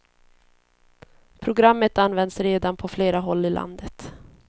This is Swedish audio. Programmet används redan på flera håll i landet.